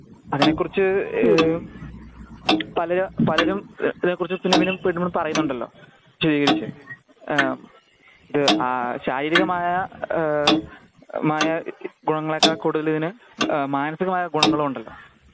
അതിനെകുറിച്ച് പല പലരും പറയുന്നുണ്ടല്ലോ സ്ഥിരീകരിച്ച് ആ ശാരീരികമായ ഏ മായ ഗുണങ്ങളെക്കാൾ കൂടുതൽ ഇതിന് മാനസികമായ ഗുണങ്ങളുണ്ടല്ലോ